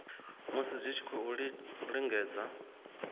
musi dzi tshi khou lingedza